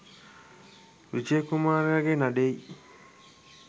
විජය කුමාරයාගේ නඩේයි